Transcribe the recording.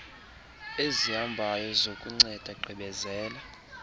ezihambayo zokunceda gqibezela